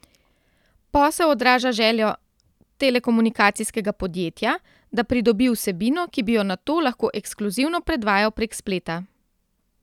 Posel odraža željo telekomunikacijskega podjetja, da pridobi vsebino, ki bi jo nato lahko ekskluzivno predvajal prek spleta.